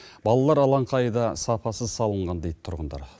балалар алаңқайы да сапасыз салынған дейді тұрғындар